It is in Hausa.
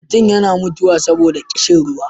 mutum yana iya mutuwa saboda ƙishin ruwa